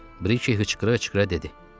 Briki hıçqıra-hıçqıra dedi.